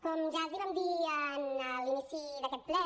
com ja els vam dir en l’inici d’aquest ple